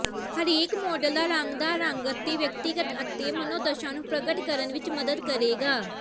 ਹਰੇਕ ਮਾਡਲ ਦਾ ਰੰਗਦਾਰ ਰੰਗ ਵਿਅਕਤੀਗਤ ਅਤੇ ਮਨੋਦਸ਼ਾ ਨੂੰ ਪ੍ਰਗਟ ਕਰਨ ਵਿੱਚ ਮਦਦ ਕਰੇਗਾ